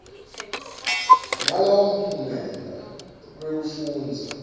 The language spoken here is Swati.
nalowo mphumela wekufundza